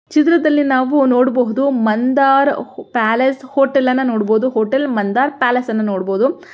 ಚಿತ್ರದಲ್ಲಿ ನಾವು ನೋಡಬಹುದು ಮಂದಾರ ಪ್ಯಾಲೆಸ್ ಹೋಟೆಲ್ ಅನ್ನ ನೋಡಬಹುದು ಹೋಟೆಲ್ ಮಂದಾರ ಪ್ಯಾಲೇಸ್ ಅನ್ನ ನೋಡಬಹುದು.